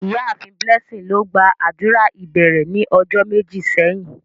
Iyaafin Blessing lo gba adura ibẹrẹ ni ọjọ meji sẹhin.